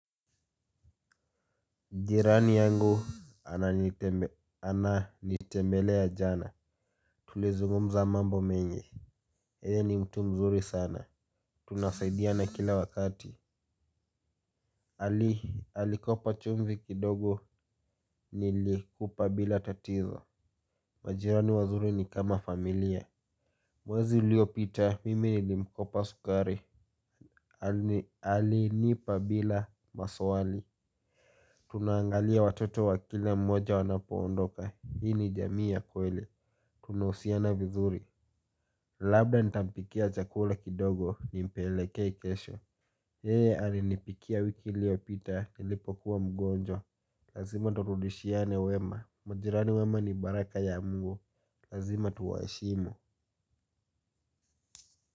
Jirani yangu ananitembelea jana. Tulizungumza mambo mengi yeye ni mtu mzuri sana. Tunasaidiana kila wakati. Alikopa chumvi kidogo nilikupa bila tatizo. Majirani wazuri ni kama familia. Mwezi uliopita mimi nilimkopa sukari. Alinipa bila maswali. Tunaangalia watoto wa kila mmoja wanapoondoka. Hii ni jamii ya kweli. Tunausiana vizuri. Labda nitampikia chakula kidogo nimpelekee kesho yeye alinipikia wiki iliopita nilipokuwa mgonjwa. Lazima turudishiane wema. Majirani wema ni baraka ya mungu. Lazima tuwaheshimu.